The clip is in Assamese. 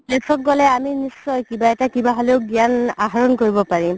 place ত গ'লে আমি নিশ্চয় কিবা এটা কিবা হ'লেও গ্যান আহৰণ কৰিব পাৰিম